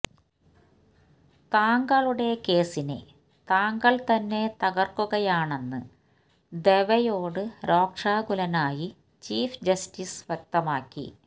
താങ്കളുടെ കേസിനെ താങ്കള് തന്നെ തകര്ക്കുകയാണെന്ന് ദവെയോട് രോഷാകുലനായി ചീഫ് ജസ്റ്റിസ് വ്യക്തമാക്കി